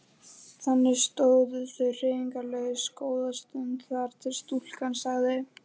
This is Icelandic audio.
Þannig stóðu þau hreyfingarlaus góða stund þar til stúlkan sagði